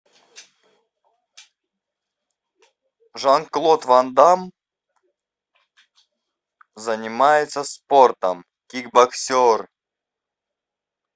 жан клод ван дамм занимается спортом кикбоксер